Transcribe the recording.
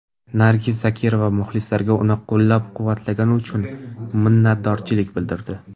Nargiz Zokirova muxlislariga uni qo‘llab-quvvatlagani uchun minnatdorlik bildirdi.